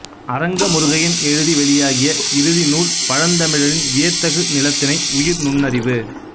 அரங்க முருகையன் எழுதி வெளியாகிய இறுதி நூல் பழந்தமிழரின் வியத்தகு நிலத்திணை உயிர் நுண்ணறிவு